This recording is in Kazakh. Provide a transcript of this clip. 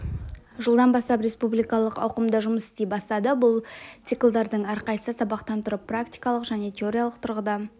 жылдан бастап республикалық ауқымда жұмыс істей бастады бұл циклдардың әрқайсысы сабақтан тұрып практикалық және теориялық тұрғыда